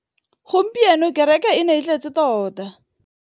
Gompieno kêrêkê e ne e tletse tota.